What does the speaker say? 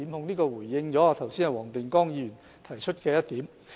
這回應了黃定光議員剛才提出的一點。